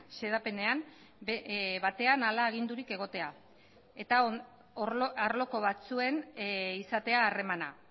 xedapenean batean hala agindurik egotea eta arloko batzuen izatea harremana